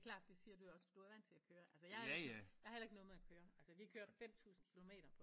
Det er klart det siger du jo også fordi du er vant til at køre altså jeg har heller ikke noget imod at køre vi kørte 5000 kilometer